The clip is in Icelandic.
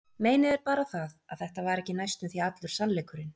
Meinið er bara það, að þetta var ekki næstum því allur sannleikurinn.